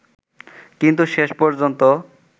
কিন্তু শেষ পর্যন্ত